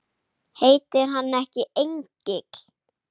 Heitir hann ekki Engill?